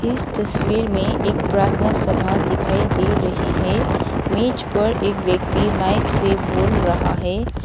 इस तस्वीर में एक प्रार्थना सभा दिखाई दे रही है मेज पर एक व्यक्ति माइक से बोल रहा है।